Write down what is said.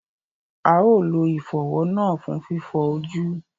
A ó lo ìfọ̀wọ́ náà fún fífọ ojú